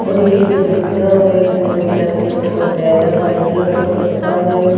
और ये इधर बिखरा हुआ एक गोल ब्लैक कलर का टायर है व्हाइट कलर का कट्टा है।